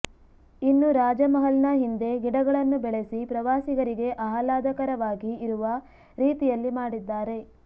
ಇನ್ನು ರಾಜಮಹಲ್ನ ಹಿಂದೆ ಗಿಡಗಳನ್ನು ಬೆಳಸಿ ಪ್ರವಾಸಿಗರಿಗೆ ಆಹ್ಲಾದಕರವಾಗಿ ಇರುವ ರೀತಿಯಲ್ಲಿ ಮಾಡಿದ್ದಾರೆ